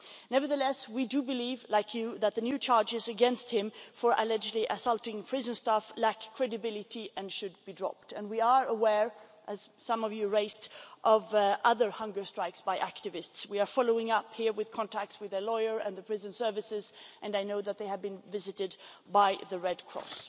Nevertheless, we do believe, like you, that the new charges against him for allegedly assaulting prison staff lack credibility and should be dropped. We are aware, as some of you raised, of other hunger strikes by activists. We are following up here with contacts with a lawyer and the prison services and I know that they had been visited by the Red Cross.